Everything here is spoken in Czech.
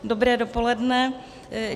Dobré dopoledne.